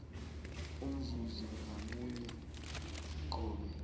umzuzi ngamunye qobe